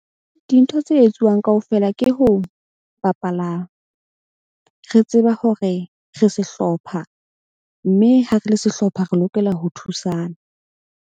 Dintho tse etsuwang kaofela ke ho bapala. Re tseba hore re sehlopha, mme ha re le sehlopha re lokela ho thusana.